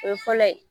O ye fɔlɔ ye